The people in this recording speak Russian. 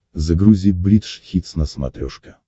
загрузи бридж хитс на смотрешке